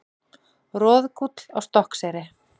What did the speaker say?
Roðgúll á Stokkseyri.